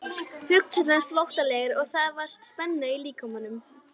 Hugsanirnar flóttalegar og það var spenna í líkamanum.